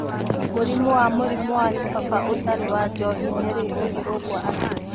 Mũrimũ wa mũrimũ wa kĩbaba ũtarĩ wa njohi-rĩ, ũngĩrũngwo atĩa?